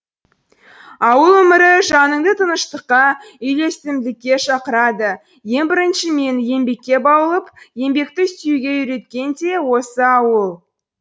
ауыл өмірі жаныңды тыныштыққа үйлесімділікке шақырады ең бірінші мені еңбекке баулып еңбекті сүюге үйреткен де осы ауыл